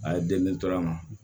A ye deli tora n ma